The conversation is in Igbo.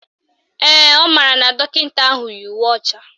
Ee, ọ maara na dọkịta ahụ yi uwe ọcha